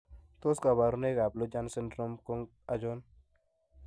Tos kabarunoik ab Lujan syndrome ko achon?